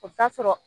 O t'a sɔrɔ